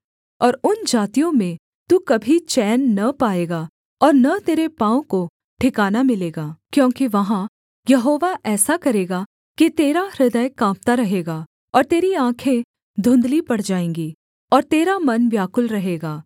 और उन जातियों में तू कभी चैन न पाएगा और न तेरे पाँव को ठिकाना मिलेगा क्योंकि वहाँ यहोवा ऐसा करेगा कि तेरा हृदय काँपता रहेगा और तेरी आँखें धुँधली पड़ जाएँगी और तेरा मन व्याकुल रहेगा